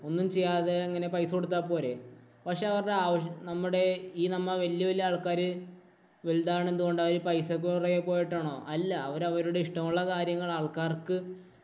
ഒന്നും ചെയ്യാതെ ഇങ്ങനെ പൈസ കൊടുത്താൽ പോരേ. പക്ഷേ അവരുടെ ആവശ്യ നമ്മുടെ ഈ നമ്മ വല്യ വല്യ ആള്‍ക്കാര് വലുതാവണത് കൊണ്ട് അവര് പൈസക്ക് പുറകെ പോയിട്ടാണോ? അല്ല. അവര്‍ അവരുടെ ഇഷ്ടമുള്ള കാര്യങ്ങള്‍ ആള്‍ക്കാര്‍ക്ക്